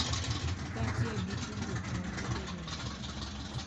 Kaachiel gi tudruok mag bedo jolony.